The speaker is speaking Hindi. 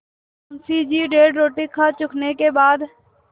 मुंशी जी डेढ़ रोटी खा चुकने के बाद